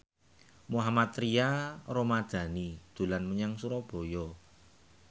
Mohammad Tria Ramadhani dolan menyang Surabaya